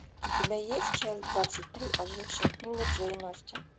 у тебя есть часть двадцать три ожившая книга джейн остин